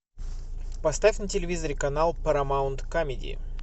поставь на телевизоре канал парамаунт камеди